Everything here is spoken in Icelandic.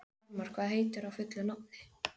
Þormar, hvað heitir þú fullu nafni?